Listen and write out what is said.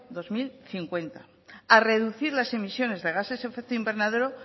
dos mil cincuenta a reducir las emisiones de gases efecto invernadero